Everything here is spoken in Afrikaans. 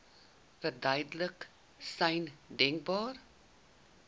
duidelikste sein denkbaar